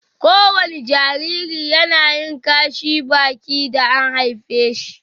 ko wani Jariri yAnayin Kashi Baki da an haife shi